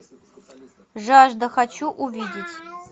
жажда хочу увидеть